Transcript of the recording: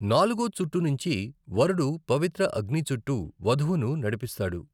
నాలుగో చుట్టునించి, వరుడు పవిత్ర అగ్ని చుట్టూ వధువును నడిపిస్తాడు.